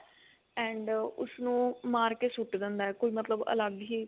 and ਉਸਨੂੰ ਮਾਰ ਕੇ ਸੁੱਟ ਦਿੰਦਾ ਕੋਈ ਮਤਲਬ ਅਲੱਗ ਹੀ